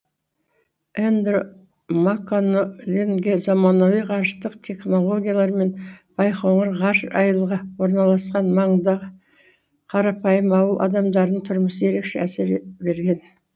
эндро макконоленге заманауи ғарыштық технологиялар мен байқоңыр ғарыш айылғы орналасқан маңындағы қарапайым ауыл адамдарының тұрмысы ерекше әсер берген